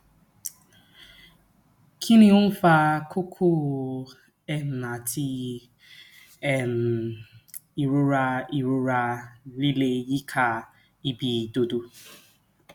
kí ni ó ń fa kókó um àti um ìrora ìrora líle yíká ibi ìdodo